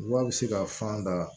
Wa a bɛ se ka fan da